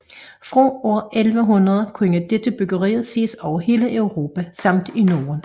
Fra år 1100 kunne dette byggeri ses over hele Europa samt i Norden